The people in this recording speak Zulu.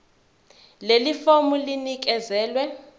leli fomu linikezelwe